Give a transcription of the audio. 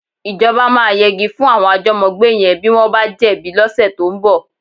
Ìjọba máa yegi fún àwọn àjọ́mọ́gbé yẹn bí wọ́n bá jẹ̀bi lọ́sẹ̀ tó ń bọ̀.